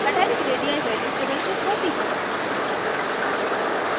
metallic radii value प्रदर्शित होती है